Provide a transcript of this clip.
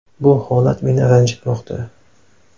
Bu holat meni ranjitmoqda.